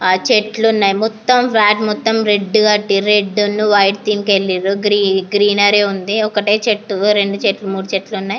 చెట్లు ఉన్నాయి ఇంకా చిన్న చిన్న చెట్లు ఉన్నాయి ఇంకా అక్కడ దూరములో ఒక చెరువు కూడా ఉంది.